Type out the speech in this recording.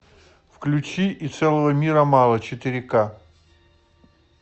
включи и целого мира мало четыре ка